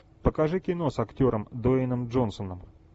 покажи кино с актером дуэйном джонсоном